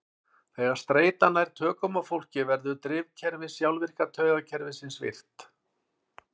Þegar streita nær tökum á fólki verður drifkerfi sjálfvirka taugakerfisins virkt.